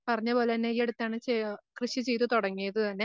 പറഞ്ഞപോലന്നെ ഈ അടുത്താണ് കൃഷി ചെയ്തു തുടങ്ങിയത് തന്നെ.